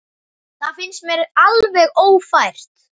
Það finnst mér alveg ófært.